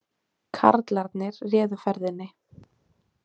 Karlarnir réðu ferðinni